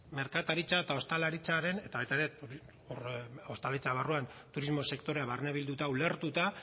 merkataritza eta ostalaritzaren eta ostalaritza barruan turismo sektorea barne bilduta ulertuta